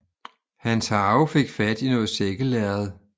Hans harve fik fat i noget sækkelærred